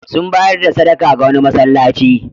Sun bayar da sadaka ga wani masallaci.